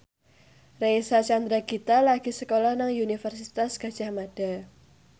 Reysa Chandragitta lagi sekolah nang Universitas Gadjah Mada